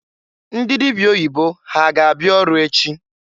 Ndị dịbịa oyibo ha ga abịa ọrụ echi?